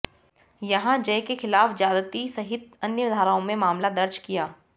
यहां जय के खिलाफ ज्यादती सहित अन्य धाराओं में मामला दर्ज किया